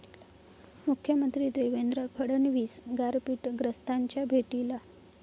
मुख्यमंत्री देवेंद्र फडणवीस गारपीटग्रस्तांच्या भेटीला